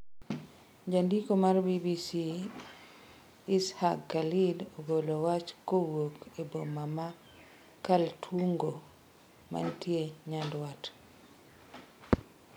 Jandiko mar BBC Is'haq Khalid ogolo wach kowuok e boma ma Kaltungo mantie nyandwat.